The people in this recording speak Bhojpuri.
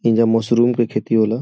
इंजा मशरुम के खेती होला।